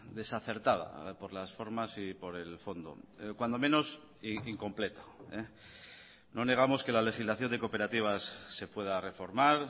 desacertada por las formas y por el fondo cuando menos incompleta no negamos que la legislación de cooperativas se pueda reformar